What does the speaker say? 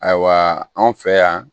Ayiwa anw fɛ yan